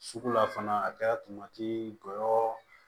Sugu la fana a kɛra jɔyɔrɔ